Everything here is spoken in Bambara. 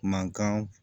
Mankan